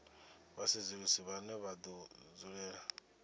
vhasedzulusi vhane vha do dzulela